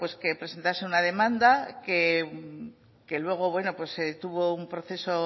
que presentase una demanda que luego tuvo un proceso